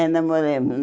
É, namoramos.